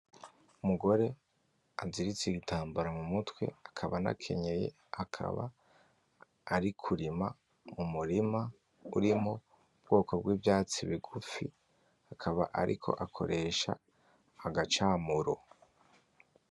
Umugore aziritse igitambara mumutwe akaba anakenyeye akaba ari kurima mumurima urimwo ubwoko bwivyatsi bigufi akaba ariko akoresha agacamuro